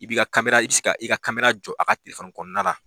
I b'i ka i bɛ se ka i ka jɔ a tigi ka telefɔni kɔnɔna na